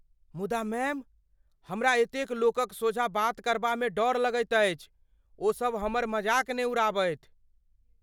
मुदा मैम, हमरा एतेक लोकक सोझाँ बात करबामे डर लगैत अछि। ओ सभ हमर मजाक ने उड़ाबथि।